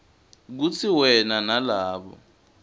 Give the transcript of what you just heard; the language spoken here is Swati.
kutsi wena nalabo